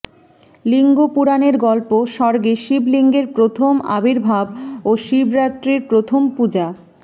লিঙ্গ পুরাণের গল্পঃ স্বর্গে শিবলিঙ্গের প্রথম আবির্ভাব ও শিবরাত্রির প্রথম পূজা